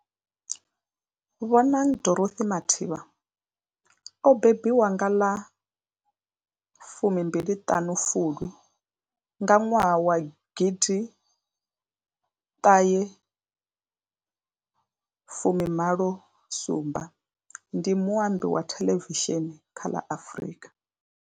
Bonang Dorothy Matheba o mbembiwa nga ḽa 25 Fulwi 1987, ndi muambi wa thelevishini kha ḽa Afrika.